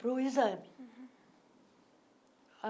para o exame.